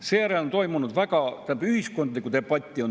Seejärel on toimunud päris palju ühiskondlikku debatti.